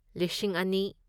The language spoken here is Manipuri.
ꯂꯤꯁꯤꯡ ꯑꯅꯤ